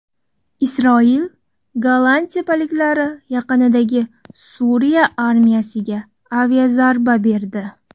Isroil Golan tepaliklari yaqinidagi Suriya armiyasiga aviazarba berdi.